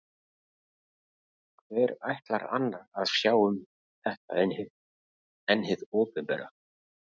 Hver ætlar annar að sjá um þetta en hið opinbera?